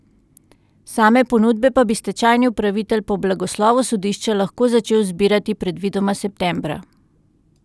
Same ponudbe pa bi stečajni upravitelj po blagoslovu sodišča lahko začel zbirati predvidoma septembra.